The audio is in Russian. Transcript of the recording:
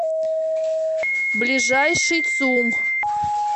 ближайший цум